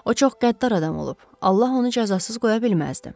O çox qəddar adam olub, Allah onu cəzasız qoya bilməzdi.